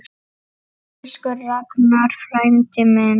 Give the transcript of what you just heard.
Elsku Ragnar frændi minn.